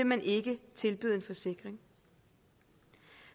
man ikke tilbyde en forsikring